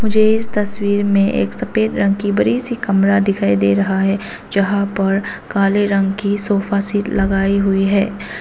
यह तस्वीर में एक सफेद रंग की बड़ी सी कैमरा दिखाई दे रहा है जहां पर काले रंग की सोफा सेट लगाई हुई है।